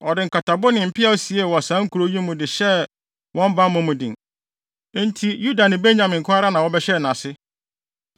Ɔde nkatabo ne mpeaw siee wɔ saa nkurow yi mu de hyɛɛ wɔn bammɔ mu den. Enti Yuda ne Benyamin nko ara na wɔbɛhyɛɛ nʼase.